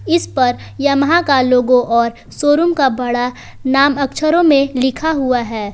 इस पर यमाहा का लोगो और शोरूम का बड़ा नाम अक्छरो में लिखा हुआ है।